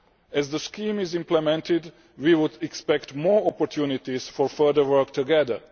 As the scheme is implemented, we would expect more opportunities for further work together.